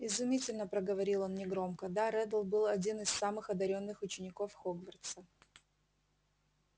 изумительно проговорил он негромко да реддл был один из самых одарённых учеников хогвартса